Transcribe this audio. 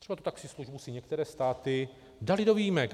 Třeba tu taxislužbu si některé státy daly do výjimek.